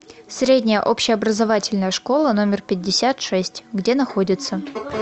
средняя общеобразовательная школа номер пятьдесят шесть где находится